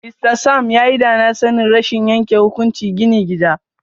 Mr Sam yayi danasanin rashin yanke hukunci gini gida.